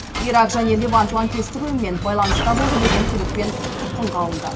ирак және левант лаңкестік ұйымымен байланыста болды деген күдікпен тұтқынға алынды